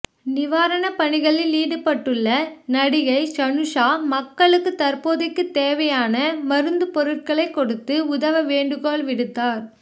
நிவாரண பணிகளில் ஈடுபட்டுள்ள நடிகை ஷனுஷா மக்களுக்கு தற்போதைக்கு தேவையான மருந்து பொருட்களை கொடுத்து உதவ வேண்டு கோள் விடுத்தார்